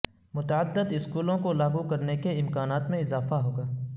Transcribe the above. متعدد اسکولوں کو لاگو کرنے کے امکانات میں اضافہ ہو گا